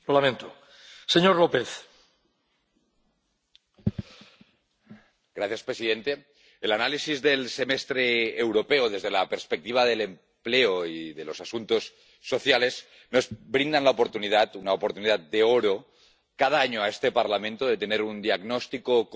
Señor presidente, el análisis del Semestre Europeo desde la perspectiva del empleo y de los asuntos sociales nos brinda la oportunidad —una oportunidad de oro— cada año, en este Parlamento, de tener un diagnóstico compartido